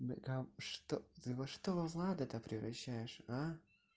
так а что да во что влада то превращаешь а